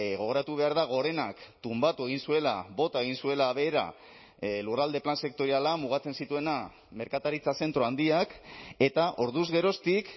gogoratu behar da gorenak tunbatu egin zuela bota egin zuela behera lurralde plan sektoriala mugatzen zituena merkataritza zentro handiak eta orduz geroztik